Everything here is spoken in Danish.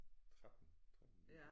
13 13 år